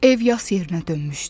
Ev yas yerinə dönmüşdü.